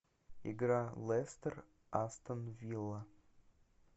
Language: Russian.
игра лестер астон вилла